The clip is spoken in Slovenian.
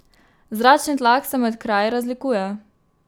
Zračni tlak se med kraji razlikuje.